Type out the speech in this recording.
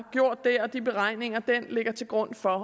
der og de beregninger der ligger til grund for